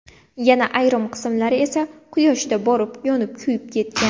Yana ayrim qismlari esa Quyoshda borib yonib-kuyib ketgan.